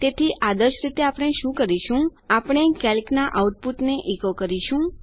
તેથી આદર્શ રીતે આપણે શું કરીશું કે આપણે કેલ્ક ના આઉટપૂટને ઇકો કરીશું